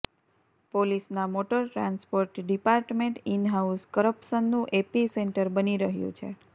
પોલીસના motor transport department in house કરપ્શનનું epicentre બની રહ્યું છે